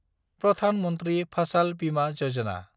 Pradhan Mantri Fasal Bima Yojana